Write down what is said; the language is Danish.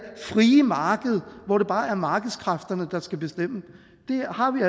frie marked hvor det bare er markedskræfterne der skal bestemme det har vi